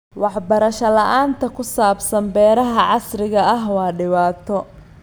Waxbarasho la'aanta ku saabsan beeraha casriga ah waa dhibaato.